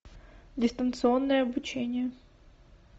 дистанционное обучение